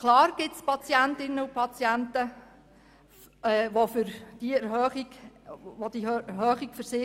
Klar, es gibt Patientinnen und Patienten, für welche diese Erhöhung schwierig ist.